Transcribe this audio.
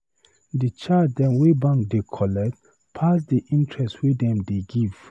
Di charge dem wey bank dey collect pass di interest wey dem dey give.